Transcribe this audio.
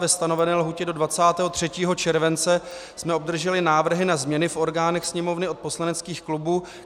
Ve stanovené lhůtě do 23. července jsme obdrželi návrhy na změny v orgánech Sněmovny od poslaneckých klubů.